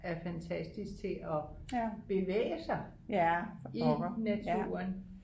er fantastisk til at bevæge sig i naturen